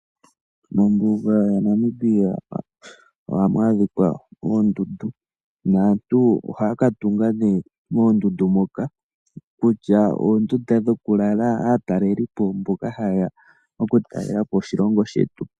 Mombuga yaNamibia ohamu adhika oondundu, naantu ohaya ka tunga nee moondundu mono, kutya oondunda dhokulala, aatalelipo mboka hayeya oku talelapo oshilongo shetu.